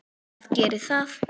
Hvað gerir það?